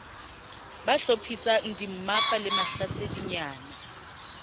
ba hlophisang dimmapa le mahlasedinyana